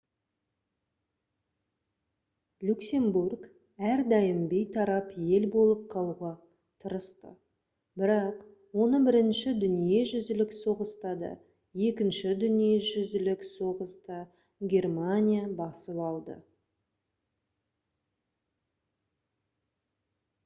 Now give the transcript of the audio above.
люксембург әрдайым бейтарап ел болып қалуға тырысты бірақ оны бірінші дүниежүзілік соғыста да екінші дүниежүзілік соғысда германия басып алды